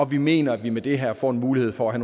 vi mener at vi med det her får en mulighed for at